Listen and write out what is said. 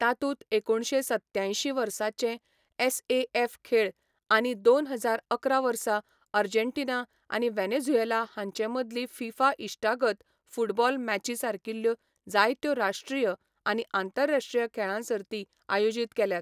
तातूंत एकुणशे सत्त्यायंशीं वर्साचे एसएएफ खेळ आनी दोन हजार अकरा वर्सा आर्जेन्टिना आनी व्हॅनेझुएला हांचेमदली फिफा इश्टागत फुटबॉल मॅची सारकिल्ल्यो जायत्यो राश्ट्रीय आनी आंतरराश्ट्रीय खेळां सर्ती आयोजीत केल्यात.